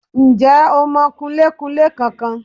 Ǹ jẹ́ o mọ kunlékunlé kan kan